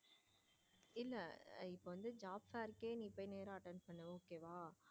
இல்ல இப்போ நீ job fair கே நேரா போய் attend பண்ணு okay வா.